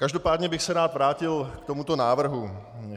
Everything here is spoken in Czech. Každopádně bych se rád vrátil k tomuto návrhu.